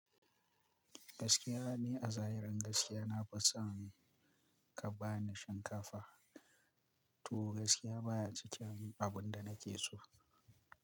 Gaskiya ne a zahirin gaskiya na fi son ka ba ni shinkafa. To gaskiya baya cikin abin da nake so.